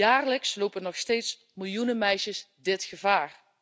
Jaarlijks lopen nog steeds miljoenen meisjes dit gevaar.